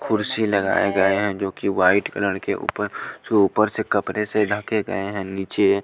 कुर्सी लगाए गए हैं जो कि वाइट कलर के ऊपर जो ऊपर से कपड़े से ढके गए हैं नीचे --